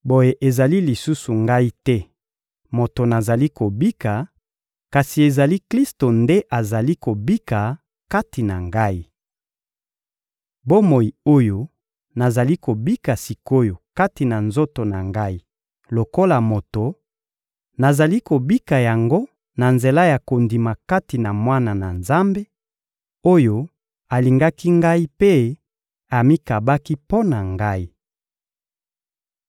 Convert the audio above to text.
boye ezali lisusu ngai te moto nazali kobika, kasi ezali Klisto nde azali kobika kati na ngai. Bomoi oyo nazali kobika sik’oyo kati na nzoto na ngai lokola moto, nazali kobika yango na nzela ya kondima kati na Mwana na Nzambe, oyo alingaki ngai mpe amikabaki mpo na ngai.